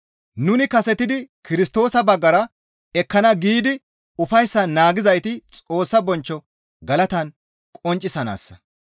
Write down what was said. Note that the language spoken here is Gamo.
Nuni kasetidi Kirstoosa baggara ekkana giidi ufayssan naagizayti Xoossa bonchcho galatan qonccisanaassa.